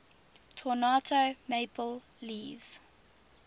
toronto maple leafs